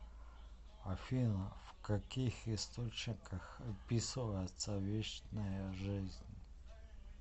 афина в каких источниках описывается вечная жизнь